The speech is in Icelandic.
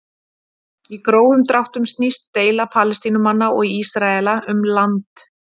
Í grófum dráttum snýst deila Palestínumanna og Ísraela um land.